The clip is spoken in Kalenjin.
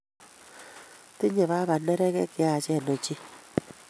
Tinyei baba neregek cheyachen ochei